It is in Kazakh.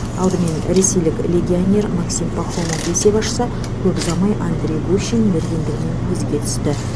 алдымен ресейлік легионер максим пахомов есеп ашса көп ұзамай андрей гущин мергендігімен көзге түсті